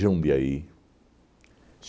Jundiaí.